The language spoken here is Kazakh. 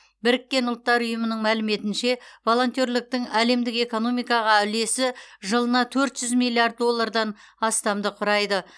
біріккен ұлттар ұйымының мәліметінше волонтерліктің әлемдік экономикаға үлесі жылына төрт жүз миллиард доллардан астамды құрайды